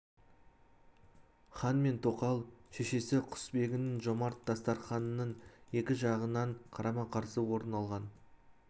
хан мен тоқал шешесі құсбегінің жомарт дастарқанының екі жағынан қарама-қарсы орын алған